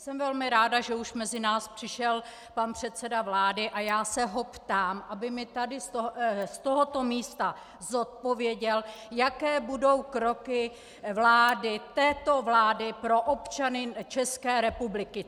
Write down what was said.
Jsem velmi ráda, že už mezi nás přišel pan předseda vlády, a já se ho ptám, aby mi tady z tohoto místa zodpověděl, jaké budou kroky vlády, této vlády, pro občany České republiky!